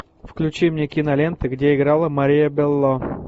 включи мне киноленты где играла мария белло